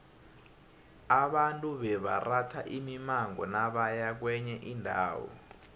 abantu bebaratha imimango nabaya kwenye indawo